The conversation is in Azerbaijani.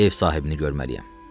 Ev sahibini görməliyəm.